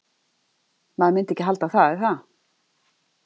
Maður myndi ekki halda það, er það?